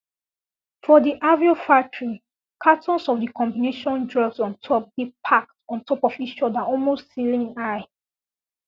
for di aveo factory cartons of d combination drugs on top dey packed ontop of each other almost ceiling high